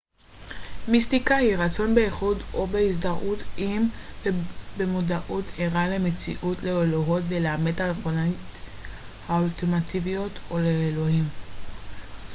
מיסטיקה היא רצון באיחוד או בהזדהות עם ובמודעות ערה למציאות לאלוהות ולאמת הרוחנית אולטימטיביות או לאלוהים